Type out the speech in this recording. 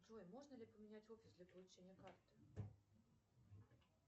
джой можно ли поменять офис для получения карты